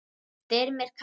Styrmir Kári.